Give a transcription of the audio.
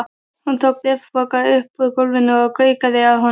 Hún tók bréfpoka upp úr gólfinu og gaukaði að honum.